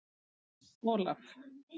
Olaf